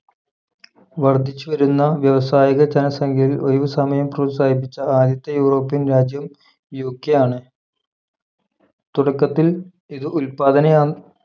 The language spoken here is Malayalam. വർദ്ധിച്ചുവരുന്ന വ്യാവസായിക ജനസംഖ്യയിൽ ഒഴിവുസമയം പ്രോത്സാഹിപ്പിച്ച ആദ്യത്തെ യൂറോപ്യൻ രാജ്യം UK ആണ് തുടക്കത്തിൽ ഇത് ഉൽപാദന